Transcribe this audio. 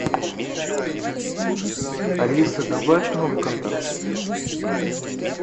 алиса добавь новый контакт